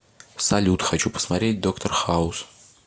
салют хочу посмотреть доктор хауз